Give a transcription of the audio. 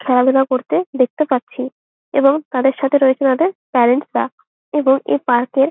খেলাধুলা করতে দেখতে পাচ্ছি এবং তাদের সাথে রয়েছে তাদের প্যারেন্টস রা এবং এই পার্ক এর --